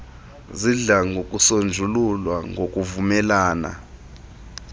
zidla ngokusonjululwa ngokuvumelana